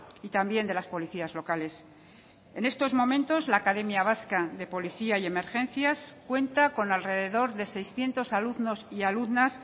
y también de las policías locales en estos momentos la academia vasca de policía y emergencias cuenta con alrededor de seiscientos alumnos y alumnas